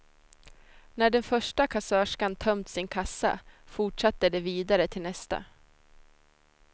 När den första kassörskan tömt sin kassa fortsatte de vidare till nästa.